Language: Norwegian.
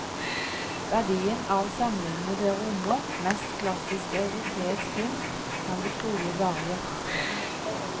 Verdien av samlingene det rommer, mest klassisk europeisk kunst, kan det trolig bare gjettes på.